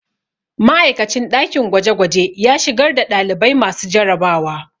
Ma'aikacin ɗakin gwajegwaje ya shigar da ɗalibai masu jarabawa